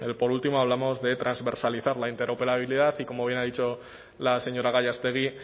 por último hablamos de transversalizar la interoperabilidad y como bien ha dicho la señora gallástegui